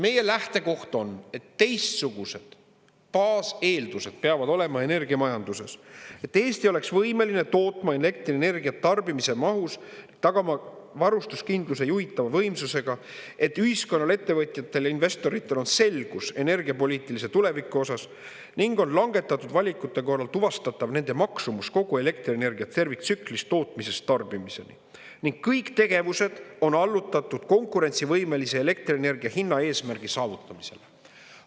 Meie lähtekoht on, et teistsugused baaseeldused peavad olema energiamajanduses, et Eesti oleks võimeline tootma elektrienergiat tarbimise mahus, tagama varustuskindluse juhitava võimsusega, et ühiskonnal, ettevõtjatel, investoritel on selgus energiapoliitilise tuleviku osas ning on langetatud valikute korral tuvastatav nende maksumus kogu elektrienergia terviktsüklis tootmisest tarbimiseni ning kõik tegevused on allutatud konkurentsivõimelise elektrienergia hinna eesmärgi saavutamisele.